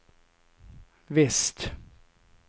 väst